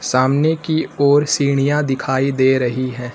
सामने की ओर सीढ़ियां दिखाई दे रही है।